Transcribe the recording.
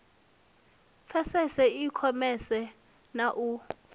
pfesese i khomese na u